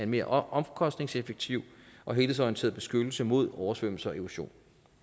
mere omkostningseffektiv og helhedsorienteret beskyttelse mod oversvømmelse og erosion